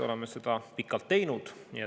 Oleme seda pikalt teinud.